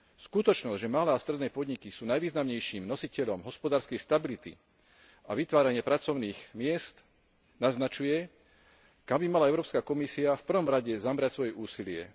Skutočnosť, že malé a stredné podniky sú najvýznamnejším nositeľom hospodárskej stability a vytvárania pracovných miest naznačuje, kam by mala Európska komisia v prvom rade zamerať svoje úsilie.